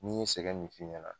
Ni n ye sɛgɛn min f'i ɲɛna